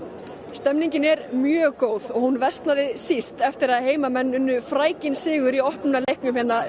stemningin er mjög góð og hún versnaði síst eftir að heimamenn unnu sigur í opnunarleik